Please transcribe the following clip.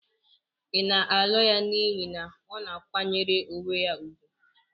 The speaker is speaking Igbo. Ị na-alụ ya n'ihi na ọ na-akwanyere onwe ya ùgwù?